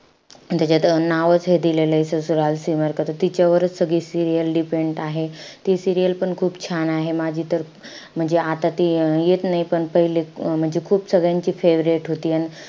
त्याच्यात नावचं हे दिलेलंय . त तिच्यावरचं सगळी serial depend आहे. ती serial पण खूप छान आहे. माझी तर म्हणजे आता ती येत नाई. पण पहिले अं म्हणजे खूप सगळ्यांची favourite होती.